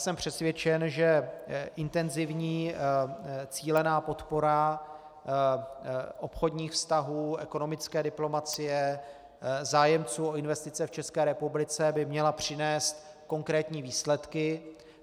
Jsem přesvědčen, že intenzivní cílená podpora obchodních vztahů, ekonomické diplomacie, zájemců o investice v České republice by měla přinést konkrétní výsledky.